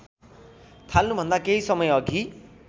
थाल्नुभन्दा केही समयअघि